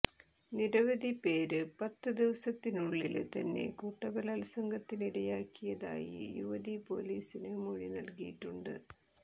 നിരവധി പേര് പത്ത് ദിവസത്തിനുള്ളില് തന്നെ കൂട്ടബലാത്സംഗത്തിനിരയാക്കിയതായി യുവതി പൊലീസിന് മൊഴി നല്കിയിട്ടുണ്ട്